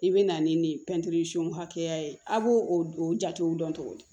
I bɛ na ni nin hakɛya ye a b'o o jatew dɔn cogo di